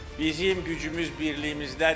Bizim gücümüz birliyimizdədir.